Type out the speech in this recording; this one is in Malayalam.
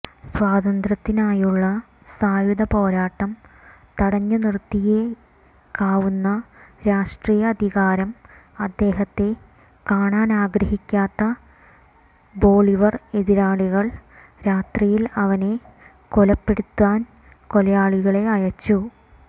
സ്വാതന്ത്ര്യത്തിനായുള്ള സായുധ പോരാട്ടം തടഞ്ഞുനിർത്തിയേക്കാവുന്ന രാഷ്ട്രീയ അധികാരം അദ്ദേഹത്തെ കാണാനാഗ്രഹിക്കാത്ത ബൊളീവർ എതിരാളികൾ രാത്രിയിൽ അവനെ കൊലപ്പെടുത്താൻ കൊലയാളികളെ അയച്ചു